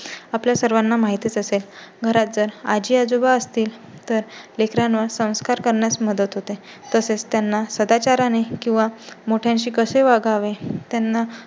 आपल्या सर्वांना माहितीच असेल. घरात जर आजी-आजोबा असतील तर लेकरांवर संस्कार करण्यास मदत होते. तसेच त्यांना सदाचाराने किंवा मोठ्या शी कसे वागावे त्यांना